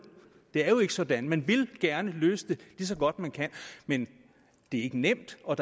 det er jo ikke sådan man vil gerne løse det lige så godt man kan men det er ikke nemt og